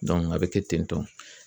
a bɛ kɛ ten tɔn